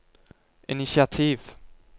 initiativ